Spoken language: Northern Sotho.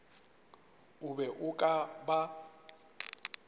o be o ka ba